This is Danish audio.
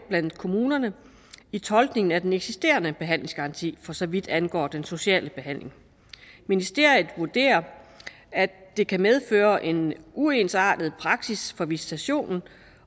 blandt kommunerne i tolkningen af den eksisterende behandlingsgaranti for så vidt angår den sociale behandling ministeriet vurderer at det kan medføre en uensartet praksis for visitationen